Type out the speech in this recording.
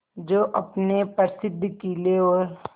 जो अपने प्रसिद्ध किले और